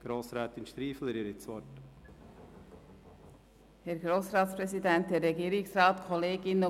Grossrätin Striffeler hat das Wort für die SP-JUSO-PSA-Fraktion.